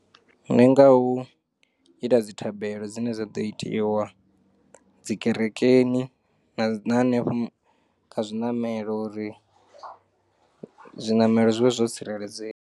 Ndi nga u ita dzithabelo dzine dza ḓo itiwa dzi kerekeni na hane henefho kha zwinamelo uri zwinamelo zwivhe zwo tsireledzea.